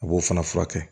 A b'o fana furakɛ